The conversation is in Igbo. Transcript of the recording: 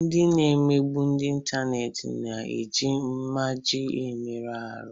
Ndị na-emegbu n'ịntanetị na-eji mmaja emerụ ahụ.